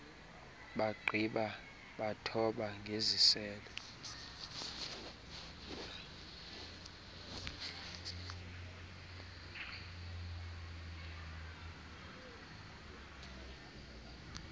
bagqiba bathoba ngeziselo